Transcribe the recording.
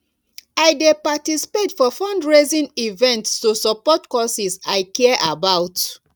i dey participate for fundraising events to support causes i care about